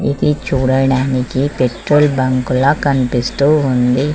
ఇది చూడడానికి petrol bunk లా కనిపిస్తూ ఉంది.